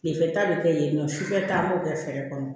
Tilefɛ ta bɛ kɛ yen nɔ sufɛ ta b'o kɛ fɛɛrɛ kɔnɔ